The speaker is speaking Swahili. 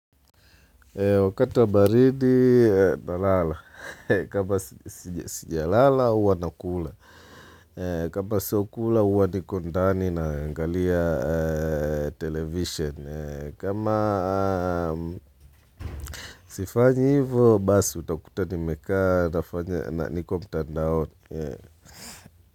Wakati wa baridi na lala. Kama sija lala huwa nakula. Kama sio kula uwa niko ndani naangalia television. Kama sifanyi hivyo basi utakuta nimekaa nafanya niko mtandaoni.